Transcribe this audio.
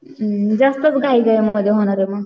उम्म जास्तच घाई घाई मध्ये होणारे मग.